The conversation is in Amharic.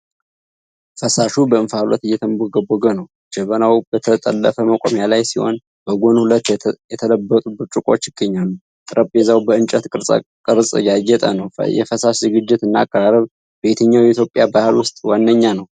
ፈሳሹ በእንፋሎት እየተንቦገቦገ ነው። ጀበናው በተጠለፈ መቆሚያ ላይ ሲሆን፣ በጎን ሁለት የተለበጡ ብርጭቆዎች ይገኛሉ። ጠረጴዛው በእንጨት ቅርጻ ቅርጽ ያጌጠ ነው። የፈሳሽ ዝግጅት እና አቀራረብ በየትኛው የኢትዮጵያ ባህል ውስጥ ዋነኛ ነው?